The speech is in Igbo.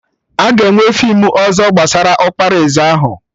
Aga enwe feem ọzọ gbasara ọkpara eze ahụ?